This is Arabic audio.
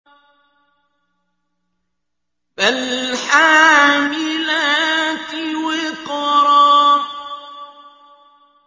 فَالْحَامِلَاتِ وِقْرًا